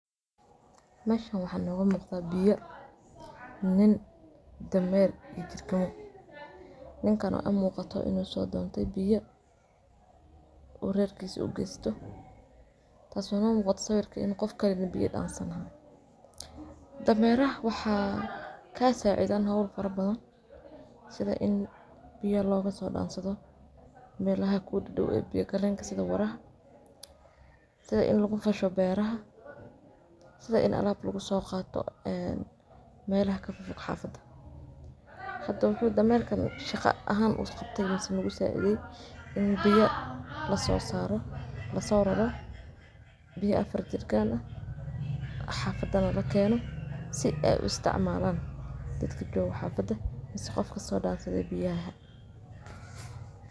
Meeshaan maxaa naga muuqda Biyo, nin, iyo dameer, iyo jirkamo. Ninkaan wuxuu u muuqdaa in uu soo doonanayo biyo oo reerkiisa u geeyo. Taas ayaa sawirkan ka muuqata in qofkan biyaha dhansanayo. Dameeraha waxay ka caawiyaan hawl badan sida in biyaha looga soo dhanso meelaha ku dhow-dhow biyagalka sida waraaha, sida in lagu fasho beeraha, iyo sida in alaab lagu soo qaato meelaha ka fog-fog xaafadda. Hadda, dameerkan maxuu shaqo ahaan u qabtay ama nagu caawiyay In biyaha la soo saaray, la soo raro, biyaha afar jirkaan ah xaafadda la keeno si ay u isticmaalaan dadka jooga xaafadda ama qofkii soo dhansaday biyaha